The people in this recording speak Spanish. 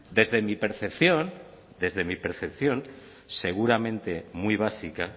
desde mi percepción desde mi percepción seguramente muy básica